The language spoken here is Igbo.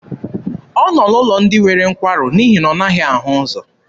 Ọ nọ n'ụlọ ndị nwere nkwarụ n'ihi na ọ naghị ahụ ụzọ.